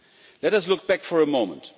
Let us look back for a moment.